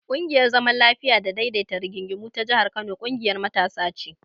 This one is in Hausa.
ƙungiyar zaman lafiya da daidaita rigingimu ta jihar Kano ƙungiyar matasa ce.